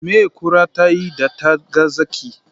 Me kura ta yi da ta ga zaki?